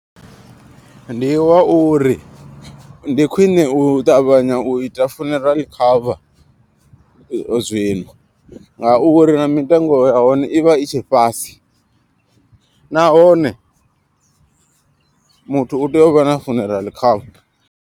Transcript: Ndi wa uri ndi khwine u ṱavhanya u ita funeral cover zwino. Nga uri na mitengo ya hone ivha i tshe fhasi, nahone muthu u tea uvha na funeral cover.